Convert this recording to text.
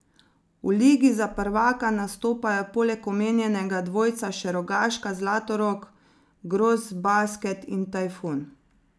V ligi za prvaka nastopajo poleg omenjenega dvojca še Rogaška, Zlatorog, Grosbasket in Tajfun.